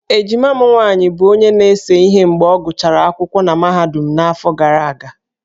Ejima m nwaanyị bụ onye na-ese ihe mgbe ọ gụsịrị akwụkwọ na mahadum n'afọ gara aga.